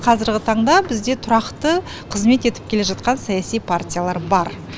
қазіргі таңда бізде тұрақты қызмет етіп келе жатқан саяси партиялар бар